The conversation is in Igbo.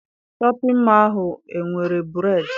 Shọpịn mọọ ahụ enwere bureedị?